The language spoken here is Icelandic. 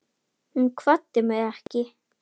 Hún kvaddi mig ekki.